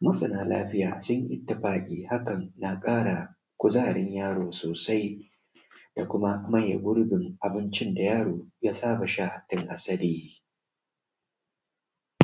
masana lafiya sun yi itifaƙin hakan na ƙara kuzarin yaro sosai ya kuma maye gurbin abincin da yaro ya saba sha tun asali